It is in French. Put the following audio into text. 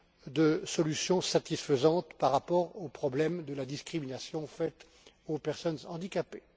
de solutions satisfaisantes par rapport au problème de la discrimination faite aux personnes handicapées.